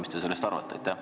Mis te sellest arvate?